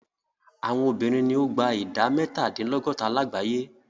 Àwọn obìnrin ni o gba ìdá mẹ́tàdínlọ́gọ́ta lágbàyé.